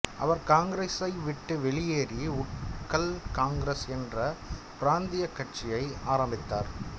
அவர் காங்கிரஸை விட்டு வெளியேறி உட்கல் காங்கிரஸ் என்ற பிராந்தியக் கட்சியை ஆரம்பித்தார்